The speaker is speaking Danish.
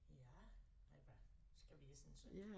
Ja eller hvad skal vi essen så